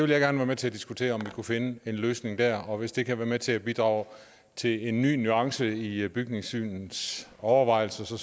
være med til at diskutere om vi kan finde en løsning der og hvis det kan være med til at bidrage til en ny nuance i bygningssynets overvejelser